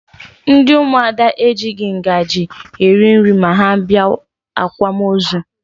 Ndị ụmụada ejighi ngaji eri nri ma ha bịa akwamozu